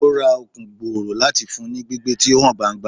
O ra Okun gbooro lati fun u ni gbigbe ti o han gbangba